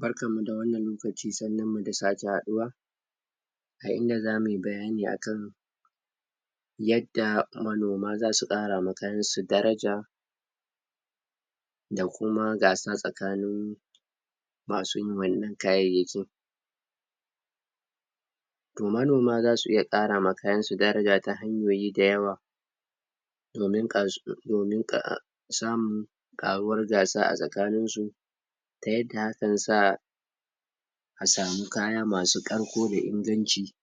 barkanmu da wannan lokaci sannunmu da sake haɗuwa a inda zamu yi bayani akan yadda manoma zasu ƙara ma kayansu daraja da kuma gasa tsakanin masu yin wannan kayyakin. To manoma zasu iya ƙara ma kayansu daraja ta hanyoyi da yawa domin um samu ƙaruwar gasa a tsakaninsu ta yadda akan sa a samu kaya masu ƙarko da inganci.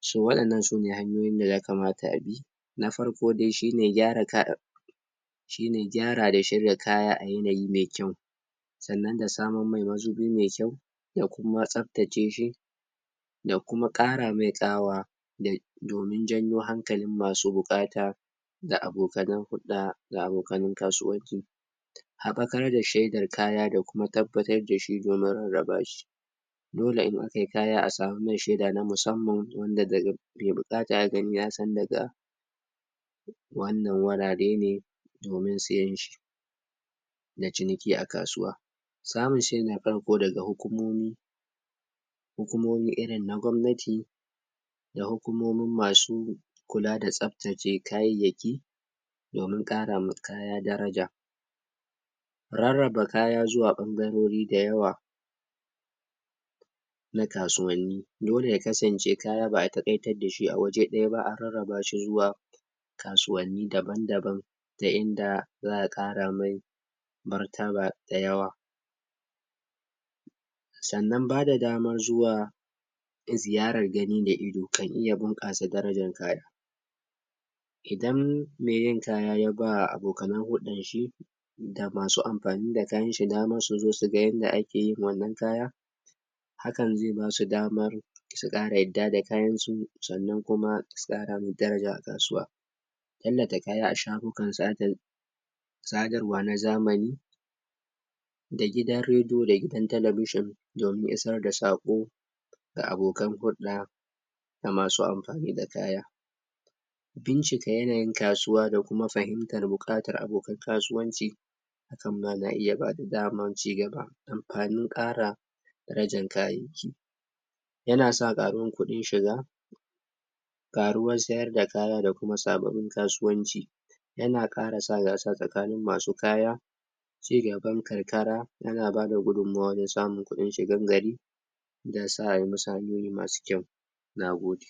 Shin waɗannan sune hanyoyin da ya kamata abi na farko dai shine gyara shine gyara da shirya kaya a yanayi mai kyau sannan da samar mai mazubi da kuma tsaftaceshi da kuma ƙara mai ƙawa domin janyo hankalin masu buƙata da abokanan hulɗa da abokanan kasuwanci haɓakar da shaidar kaya da kuma tabbatar dashi domin rarraba shi dole in akai kaya a samar mai sheda na musamman wanda da mai buƙata ya gani yasan daga wannan wurare ne domin siyanshi da ciniki a kasuwa samun shaida na farko daga hukumomi irin na gwamnati da hukumomin masu kula da tsaftace kayayyaki dominƙarama kaya daraja rarraba kaya zuwa ɓangarori da yawa na kasuwanni dole ya kasance kaya ba'a taƙaitad dashi a waje ɗaya ba, an rarraba shi zuwa kasuwanni daban-daban ta inda za'a ƙara mai martaba da yawa. sannan bada dama zuwa ziyarar gani da ido kan iya bunƙasa darajan kaya idan mai yin kaya ya bawa abokanan hulɗan shi masu amfani da kayan shiga na shiga su zo suga yanda ake yin wannan kaya hankan zai basu damar su ƙara su ƙara yadda da kayansu sannan kuma su ƙara mai daraja a kasuwa tallata kaya a shafukan sada sadarwa na zamani da gidan rediyo da gidan telebishon domin isarda saƙo ga abokan hulɗa da masu amfani da kaya bincika yanayin kasuwa da kuma fahimtar buƙatar abokan kasuwanci hakan ma na iya bada damar ci gaba amfanin ƙara darajan kayyayaki yana sa ƙarin kuɗin shiga ƙaruwar sayar da kaya da kuma sababbin kasuwanci yana ƙara sa gasa tsakanin masu kaya cigaban karkara yana bada gudunmawa wajen samun kuɗin shigan gari da musu hanyoyi masu kyau. nagode